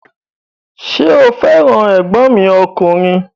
Ṣé o fẹ́ràn ẹ̀gbọ́n mi ọkùnrin?